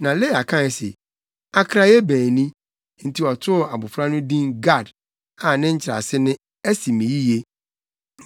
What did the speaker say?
Na Lea kae se, “Akraye bɛn ni!” Enti ɔtoo abofra no din Gad a ne nkyerɛase ne, “Asi me yiye.”